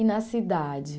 E na cidade?